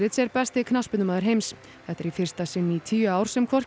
er besti knattspyrnumaður heims þetta er í fyrsta sinn í tíu ár sem hvorki